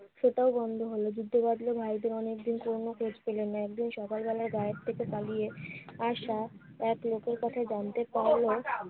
সেটাও বন্ধ হলো। বৃদ্ধ বাবলিন অনেকদিন কোনো খোঁজ পেলেন না। একদিন সকালবেলায় গারদ থেকে পালিয়ে আসা এক লোকের কাছে জানতে পারলো